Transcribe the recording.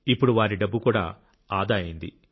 ఇప్పుడు వారి డబ్బు కూడా ఆదా అయింది